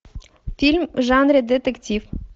фильм в жанре детектив